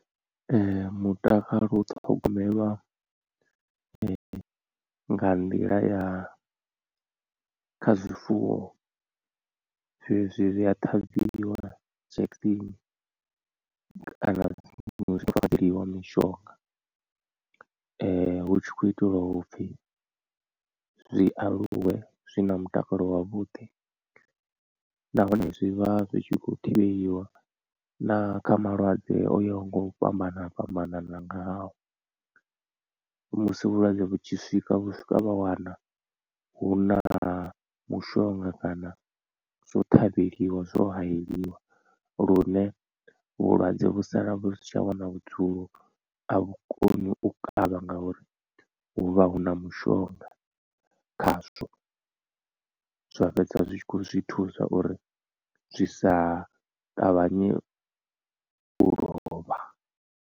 Mutakalo u thogomelwa nga nḓila ya kha zwifuwo zwezwi zwi a ṱhavhiwa injection kana zwa fafadzeliwa mishonga hu tshi khou itelwa upfhi zwi aluwe zwi na mutakalo wavhuḓi nahone zwi vha zwi khou thivheliwa na kha malwadze o yaho nga u fhambana fhambanana ngao. Musi vhulwadze vhu tshi swika vhu swika vha wana hu na mushonga kana zwo ṱhavheliwa zwo hayeliwa lune vhulwadze vhu sala vhu si tsha wana vhudzulo a vhukoni u kavha ngauri hu vha hu na mushonga khazwo zwa fhedza zwi tshi kho zwithusa uri zwi sa ṱavhanye u lovha.